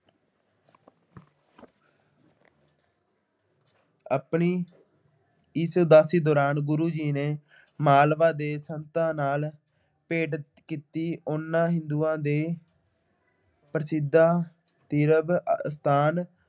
ਆਪਣੀ ਇਸ ਉਦਾਸੀ ਦੌਰਾਨ ਗੁਰੂ ਜੀ ਨੇ ਮਾਲਵਾ ਦੇ ਸੰਤਾਂ ਨਾਲ ਭੇਂਟ ਕੀਤੀ ਉਹਨਾ ਹਿੰਦੂਆਂ ਦੇ ਪ੍ਰਸਿੱਧ ਤੀਰਥ ਅਸਥਾਨ